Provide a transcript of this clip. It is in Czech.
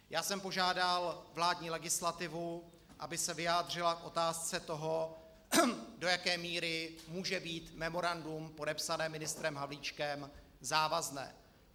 Já jsem požádal vládní legislativu, aby se vyjádřila k otázce toho, do jaké míry může být memorandum podepsané ministrem Havlíčkem závazné.